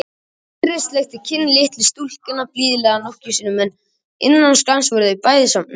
Týri sleikti kinn litlu stúlkunnar blíðlega nokkrum sinnum en innan skamms voru þau bæði sofnuð.